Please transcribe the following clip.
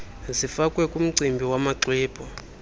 zifakwe kumgcini wamaxwebhu